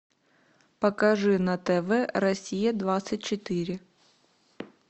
покажи на тв россия двадцать четыре